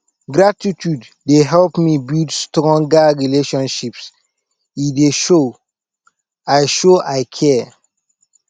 gratitude dey help me build stronger relationships e dey show i show i care